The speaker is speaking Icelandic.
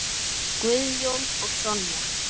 Guðjón og Sonja.